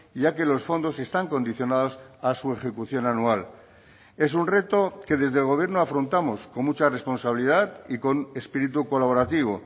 ya que los fondos están condicionados a su ejecución anual es un reto que desde el gobierno afrontamos con mucha responsabilidad y con espíritu colaborativo